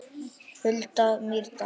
Hulda Mýrdal.